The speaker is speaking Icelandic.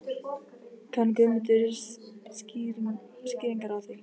Kann Guðmundur skýringar á því?